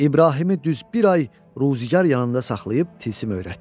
İbrahimi düz bir ay ruzigar yanında saxlayıb tilsim öyrətdi.